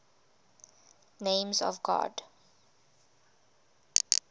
names of god